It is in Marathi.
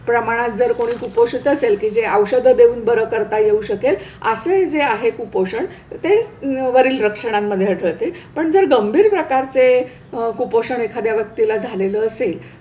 प्रमाणात जर कोणी कुपोषित असेल की जे औषधं देऊन बरं करता येऊ शकेल असे जे आहे कुपोषण ते वरील लक्षणांमध्ये आढळते, पण जर गंभीर प्रकारचे कुपोषण एखाद्या व्यक्तीला झालेलं असेल,